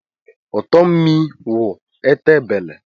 Ụtọ mmịị wụ ete bele. (Owerri proverb)